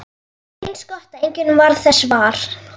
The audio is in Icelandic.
Eins gott að enginn varð þess var!